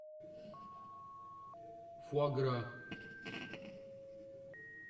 фуагра